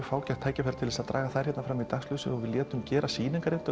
fágætt tækifæri til að draga þær fram í dagsljósið og létum gera